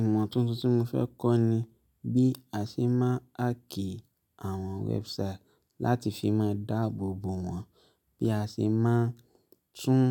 Ìmọ̀ tuntun tí mo fẹ́ kọ́ ni bí a ṣe máa háàkì àwọn website láti fi máa dáàbò bo wọn, bí a ṣe máa tún